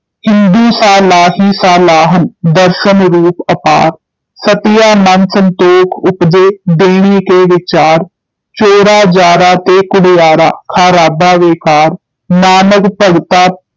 ਹਿੰਦੂ ਸਾਲਾਹੀ ਸਾਲਾਹਨਿ ਦਰਸਨਿ ਰੂਪਿ ਅਪਾਰੁ, ਸਤੀਆ ਮਨਿ ਸੰਤੋਖੁ ਉਪਜੈ ਦੇਣੈ ਕੈ ਵੀਚਾਰ, ਚੋਰਾ ਜਾਰਾ ਤੈ ਕੂੜਿਆਰਾ ਖਾਰਾਬਾ ਵੇਕਾਰ, ਨਾਨਕ ਭਗਤਾ